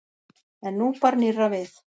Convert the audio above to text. En nú bar nýrra við.